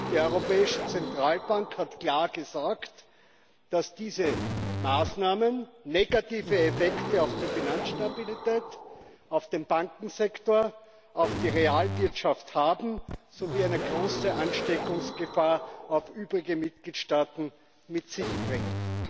Und die Europäische Zentralbank hat klar gesagt, dass diese Maßnahmen negative Effekte auf die Finanzstabilität, auf den Bankensektor und auf die Realwirtschaft haben, sowie eine große Ansteckungsgefahr auf die übrigen Mitgliedstaaten mit sich bringen.